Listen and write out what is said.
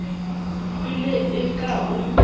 e ne e ka o